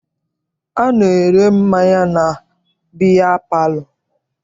A na-ere mmanya na biya palọ.